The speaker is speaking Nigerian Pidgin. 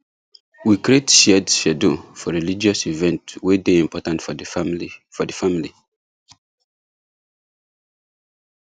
we create shared schedule for religious events way day important for the family for the family